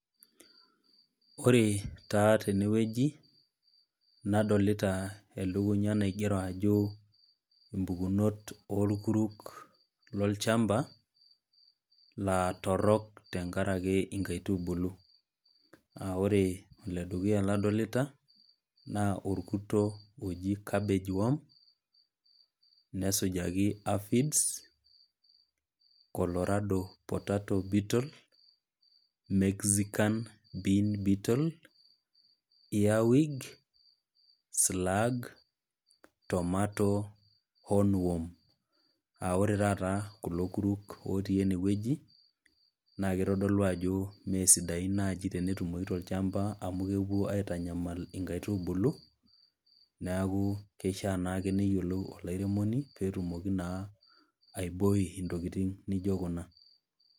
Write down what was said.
Ore taa tene wueji nadolita elukunya naigero ajo impukunot oolkuruk lolchamba laa torok tenkaraki inkaitubulu. Naa ore oledukuya ladolita naa olkurto oji cabbage worms, nesujaki aphids, colarado potato beetle, mexican bee cattle, ear wig, slag, tomato own worm, aa ore taata kulo kuruk otii ene wueji, naa keitodolu naaji ajo mee sidain tenetumoyu tolchamba, amu kepuo aitanyamal inkaitubulu, neaku keishaa naake peeyiolou olairemoni paake petumoki naake aibooi intokitin naijo kuna.